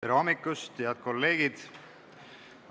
Tere hommikust, head kolleegid!